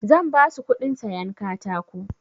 Zan basu kuɗin sayan katako.